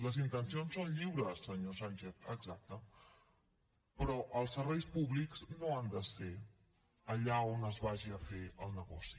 les intencions són lliures senyor sánchez exacte però el serveis públics no han de ser allà on es vagi a fer el negoci